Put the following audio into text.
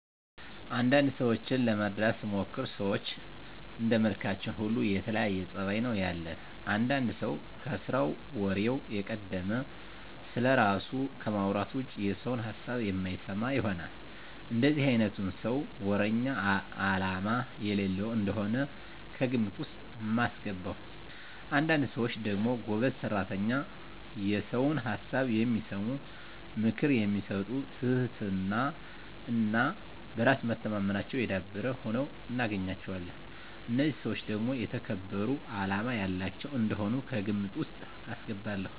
አንዳንድ ሰዎችን ለመረዳት ስሞክር ሰዎች እንደመልካችን ሁሉ የተለያየ ፀባይ ነው ያለን። አንዳንድ ሰው ከስራው ወሬው የቀደመ፣ ስለራሱ ከማውራት ውጭ የሰውን ሀሳብ የማይሰማ ይሆናል። እንደዚህ አይነቱን ሰው ወረኛ አላማ የሌለው እንደሆነ ነው ከግምት ውስጥ ማስገባው። አንዳንድ ሰዎች ደግሞ ጎበዝ ሰራተኛ፣ የሰውን ሀሳብ የሚሰሙ፣ ምክር የሚሰጡ ትህትና እና በራስ መተማመናቸው የዳበረ ሁነው እናገኛቸዋለን። እነዚህን ሰዎች ደግሞ የተከበሩ አላማ ያላቸው እንደሆኑ ከግምት ውስጥ አስገባለሁ።